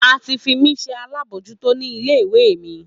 A ti fi mí se alábòójútó ní ilé ìwé mi